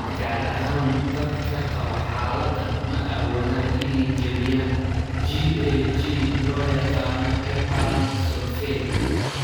Gaar ahaan, dadka qaba xaaladdan ma awoodaan inay jebiyaan GAG loo yaqaan heparan sulfate.